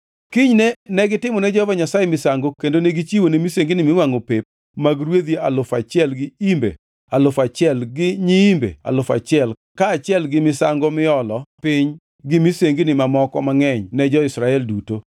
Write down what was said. Kinyne negitimone Jehova Nyasaye misango kendo negichiwone misengini miwangʼo pep mag rwedhi alufu achiel gi imbe alufu achiel to gi nyiimbe alufu achiel kaachiel gi misango miolo piny to gi misengini mamoko mangʼeny ne jo-Israel duto.